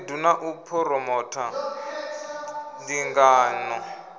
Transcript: khaedu na u phuromotha ndingano